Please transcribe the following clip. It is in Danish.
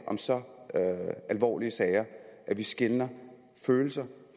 om så alvorlige sager at vi skelner følelser